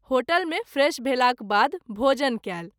Hotel मे fresh भेलाक बाद भोजन कएल।